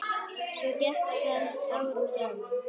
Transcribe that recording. Svona gekk það árum saman.